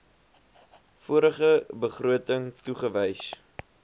vorige begroting toegewys